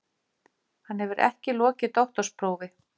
Hann hefur ekki lokið doktorsprófi